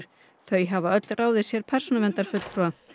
þau hafa öll ráðið sér persónuverndarfulltúa